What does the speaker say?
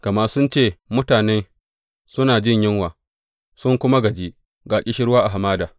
Gama sun ce, Mutanen suna jin yunwa, sun kuma gaji, ga ƙishirwa a hamada.